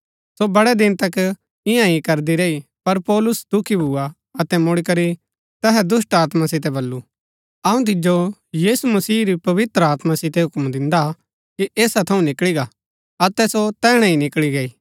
सो बड़ै दिन तक इन्या हि करदी रैई पर पौलुस दुखी भुआ अतै मुड़ीकरी तैहा दुष्‍टात्मा सितै बल्लू अऊँ तिजो यीशु मसीह री पवित्र आत्मा सितै हूक्म दिन्दा कि ऐसा थऊँ निकळी गा अतै सो तैहणै ही निकळी गई